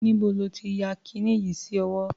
Níbo ló ti ya kiní yìí sí ọwọ́?